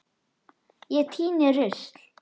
Ég tíni rusl.